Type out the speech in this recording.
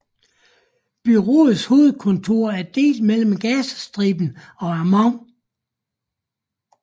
Bureauets hovedkontor er delt mellem Gazastriben og Amman